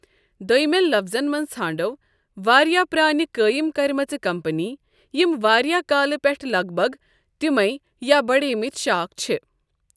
دوٚیمٮ۪ن لفٕظن منٛز، ژھانٛڈو واریٛاہ پرٛٲنہِ قٲیِم کرِمَژٕ کمپنی یم وارِیاہ كالہٕ پٮ۪ٹھہٕ لَگ بَگ تمے یا بڈیمٕتۍ شاخ چھ۔